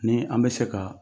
Ni an bɛ se ka